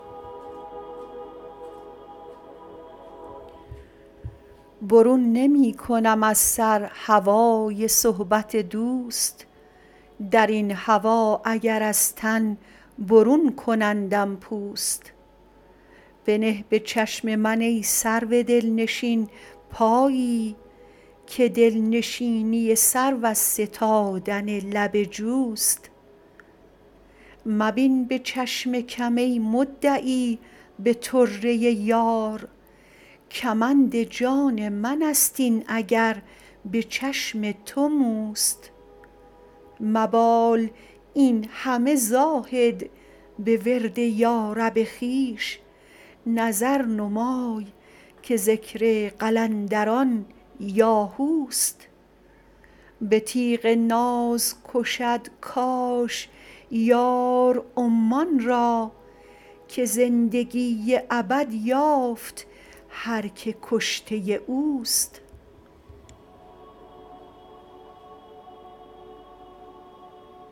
برون نمی کنم از سر هوای صحبت دوست در این هوا اگر از تن برون کنندم پوست بنه به چشم من ای سرو دلنشین پایی که دل نشینی سرو از ستادن لب جوست مبین به چشم کم ای مدعی به طره یار کمند جان من است این اگر به چشم تو موست مبال این همه زاهد به ورد یارب خویش نظر نمای که ذکر قلندران یاهوست به تیغ ناز کشد کاش یار عمان را که زندگی ابد یافت هر که کشته اوست